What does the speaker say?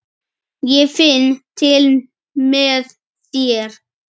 Ég finn til með þér.